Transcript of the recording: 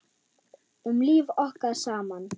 Um líf okkar saman.